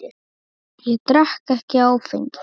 Ég drekk ekki áfengi.